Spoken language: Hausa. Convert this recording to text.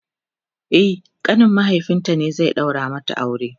e ƙanin mahaifinta ne zai daura mata aure